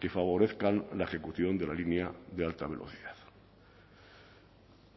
que favorezcan la ejecución de la línea de alta velocidad